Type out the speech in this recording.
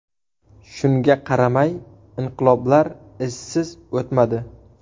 Shunga qaramay, inqiloblar izsiz o‘tmadi.